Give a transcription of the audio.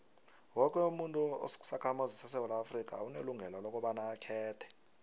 woke umuntu osisakhamuzi sesewula afrika unelungelo lokobaba akhethe